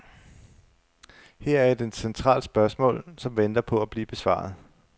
Her er et centralt spørgsmål, som venter på at blive besvaret.